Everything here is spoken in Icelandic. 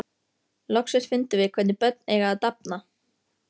Loksins fundum við hvernig börn eiga að dafna.